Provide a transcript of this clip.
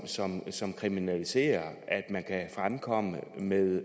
som som kriminaliserer at man kan fremkomme med